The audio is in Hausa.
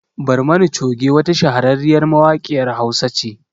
Barmani Choge wata shahararriyar mawaƙiyar Hausa ce